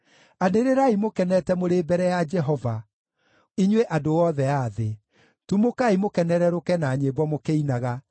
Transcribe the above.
Anĩrĩrai mũkenete mũrĩ mbere ya Jehova, inyuĩ andũ othe a thĩ, tumũkai mũkenũrũrũke na nyĩmbo mũkĩinaga;